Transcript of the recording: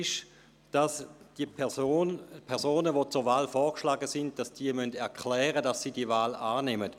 Demnach müssen die zur Wahl vorgeschlagenen Personen erklären, dass sie die Wahl annehmen.